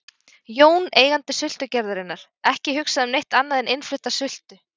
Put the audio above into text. Jón, eigandi sultugerðarinnar, ekki hugsað um neitt annað en innflutta sultu.